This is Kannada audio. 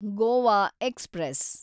ಗೋವಾ ಎಕ್ಸ್‌ಪ್ರೆಸ್